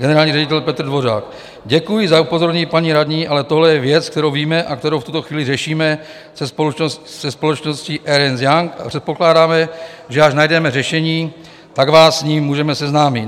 Generální ředitel Petr Dvořák: "Děkuji za upozornění, paní radní, ale tohle je věc, kterou víme a kterou v tuto chvíli řešíme se společností Ernst & Young, a předpokládáme, že až najdeme řešení, tak vás s ním můžeme seznámit.